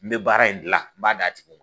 N bɛ baara in dilan, n b'a d'a tigi ma.